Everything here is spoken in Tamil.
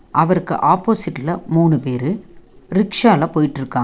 அவருக்கு ஆப்போசிட் ல மூணு பேரு ரிக்க்ஷா ல போயிட்ருக்காங்க.